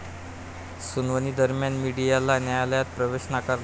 सुनावणीदरम्यान मीडियाला न्यायालयात प्रवेश नाकारला.